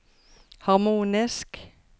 harmonisk